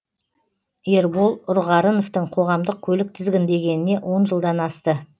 ербол ұрғарыновтың қоғамдық көлік тізгіндегеніне он жылдан асты